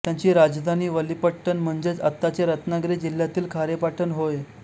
त्यांची राजधानी वलीपट्टण म्हणजेच आत्ताचे रत्नागिरी जिल्ह्यातील खारेपाटण होय